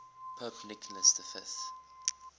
pope nicholas v